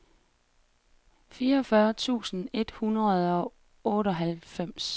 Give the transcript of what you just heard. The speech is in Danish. fireogfyrre tusind et hundrede og otteoghalvfems